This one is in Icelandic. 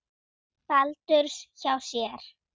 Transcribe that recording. Baldurs hjá sér.